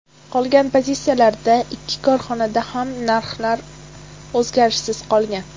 Qolgan pozitsiyalarda ikki korxonada ham narxlar o‘zgarishsiz qolgan.